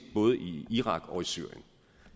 både i irak og i syrien